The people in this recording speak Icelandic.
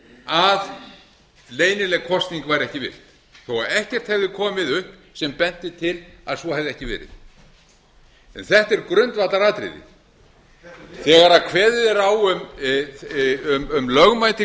að leynileg kosning var ekki virt þó ekkert hefði komið upp sem benti til að svo hefði ekki verið þetta er grundvallaratriði þegar kveðið er á um lögmæti